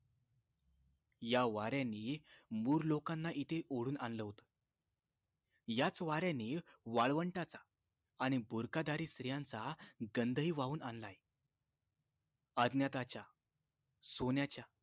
या वाऱ्यानि मूर लोकांना इथं ओढून आणलं होत याच वाऱ्यानि वाळवंटाचा आणि बुरखा धारी स्त्रियांचा गंध हि वाहून आणलाय अज्ञाताच्या सोन्याच्या